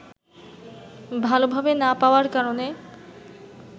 ভালভাবে না পাওয়ার কারণে